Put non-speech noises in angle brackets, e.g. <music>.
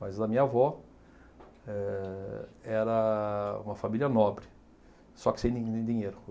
Mas a minha avó eh era uma família nobre, só que sem <unintelligible> dinheiro.